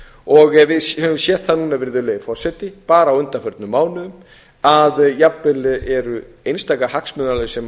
og við höfum séð það núna virðulegi forseti bara á undanförnum mánuðum að jafnvel eru einstaka hagsmunaaðilar sem